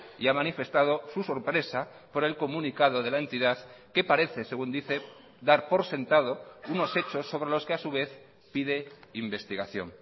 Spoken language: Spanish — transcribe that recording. y ha manifestado su sorpresa por el comunicado de la entidad que parece según dice dar por sentado unos hechos sobre los que a su vez pide investigación